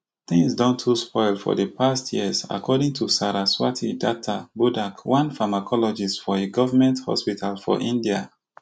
tins don too spoil for di past years according to saraswati datta bodhak one pharmacologist for a govment hospital for india